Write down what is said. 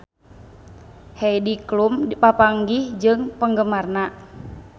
Heidi Klum papanggih jeung penggemarna